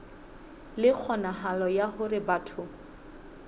le kgonahalo ya hore batho